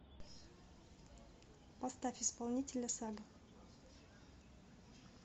поставь исполнителя сага